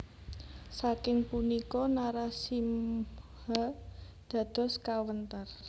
Saking punika Narasimha dados kawentar